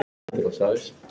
Vissi hún ekki?